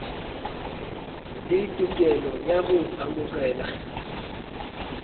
le tokelo ya go amogela